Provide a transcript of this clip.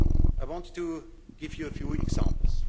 I want to give you a few examples.